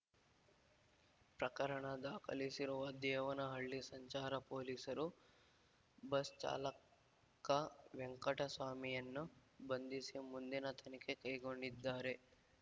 ಪ್ರಕರಣ ದಾಖಲಿಸಿರುವ ದೇವನಹಳ್ಳಿ ಸಂಚಾರ ಪೊಲೀಸರು ಬಸ್ ಚಾಲಕ ವೆಂಕಟಸ್ವಾಮಿಯನ್ನು ಬಂಧಿಸಿ ಮುಂದಿನ ತನಿಖೆ ಕೈಗೊಂಡಿದ್ದಾರೆ